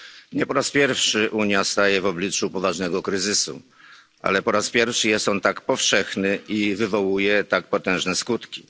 Nie po raz pierwszy Unia staje w obliczu poważnego kryzysu, ale po raz pierwszy jest on tak powszechny i wywołuje tak potężne skutki.